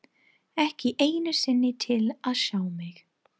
Ekki einu sinni til að sjá mig.